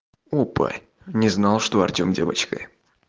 опа не знал что артём девочка